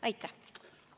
Aitäh!